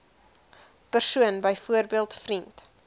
persoon byvoorbeeld vriend